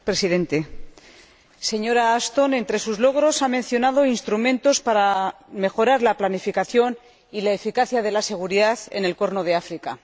Señor Presidente, señora Ashton, entre sus logros ha mencionado instrumentos para mejorar la planificación y la eficacia de la seguridad en el Cuerno de África.